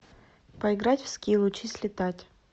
поиграть в скил учись летать